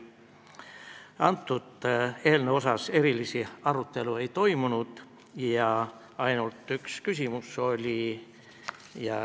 Selle eelnõu üle erilist arutelu ei toimunud, oli ainult üks küsimus.